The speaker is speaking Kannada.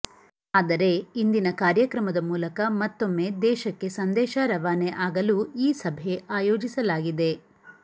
ಆದರೆ ಇಂದಿನ ಕಾರ್ಯಕ್ರಮದ ಮೂಲಕ ಮತ್ತೊಮ್ಮೆ ದೇಶಕ್ಕೆ ಸಂದೇಶ ರವಾನೆ ಆಗಲು ಈ ಸಭೆ ಆಯೋಜಿಸಲಾಗಿದೆ